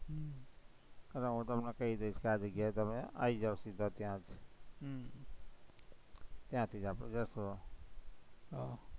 એટલે હું તમને કઈ દઈશ કે આ જગ્યાએ તમે આવી જાવ સીધા ત્યાં ત્યાંથી આપણે જશું